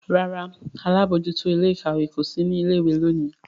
ràrá àlabòjuto Ilé-ìkàwé kò sí ní ilé ìwé lóni.